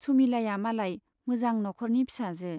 सुमिलाया मालाय मोजां न'खरनि फिसाजो।